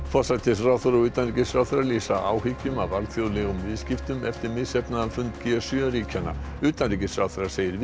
forsætisráðherra og utanríkisráðherra lýsa áhyggjum af alþjóðlegum viðskiptum eftir misheppnaðan fund g sjö ríkjanna utanríkisráðherra segir